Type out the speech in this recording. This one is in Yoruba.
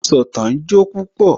Asọ̀tàn jó púpọ̀